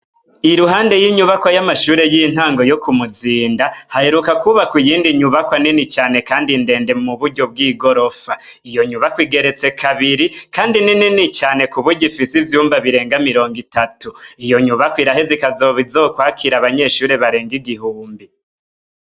I ruhande y'inyubako y'amashure y'intango yo ku muzinda haheruka kwubaka iyindi nyubako anini cane, kandi ndende mu buryo bw'i gorofa iyo nyubako igeretse kabiri, kandi ninini cane ku burya ifise ivyumba birenga mirongo itatu iyo nyubako irahe zikazoba izokwakira abanyeshuri barenga igihumbi.